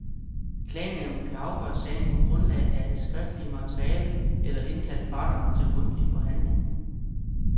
Klagenævnet kan afgøre sagen på grundlag af det skriftlige materiale eller indkalde parterne til mundtlig forhandling.